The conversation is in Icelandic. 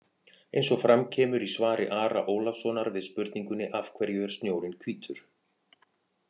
Eins og fram kemur í svari Ara Ólafssonar við spurningunni Af hverju er snjórinn hvítur?